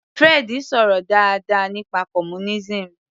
Fred sọ̀rọ̀ dáadáa nípa communism